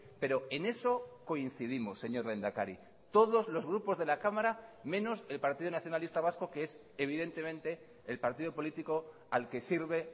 pero en eso coincidimos señor lehendakari todos los grupos de la cámara menos el partido nacionalista vasco que es evidentemente el partido político al que sirve